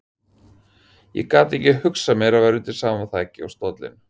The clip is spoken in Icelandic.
Ég gat ekki hugsað mér að vera undir sama þaki og stóllinn.